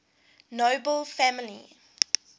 nobel family